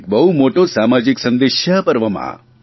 એક બહુ મોટો સામાજિક સંદેશ છે આ પર્વમાં